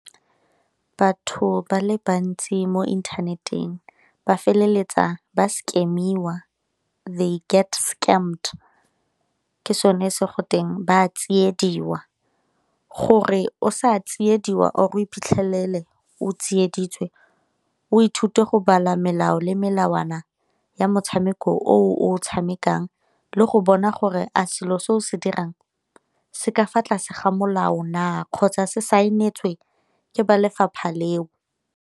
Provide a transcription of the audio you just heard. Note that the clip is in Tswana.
Batho ba le bantsi mo internet-eng ba feleletsa ba scam-iwa, they get scammed ke sone se go teng ba a tsiediwa. Gore o sa tsiediwa or o iphitlhelela o tsieditswe o ithute go bala melao le melawana ya motshameko o o tshamekang le go bona gore a selo se o se dirang se ka fa tlase ga molao na kgotsa se saenetswe ke ba lefapha leo.